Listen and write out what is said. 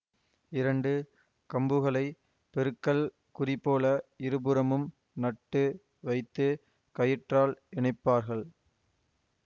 இரண்டு கம்புகளை பெருக்கல் குறிபோல இருபுறமும் நட்டு வைத்து கயிற்றால் இணைப்பார்கள்